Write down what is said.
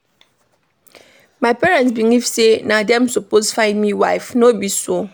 My parents believe sey na dem suppose find me wife, no be so.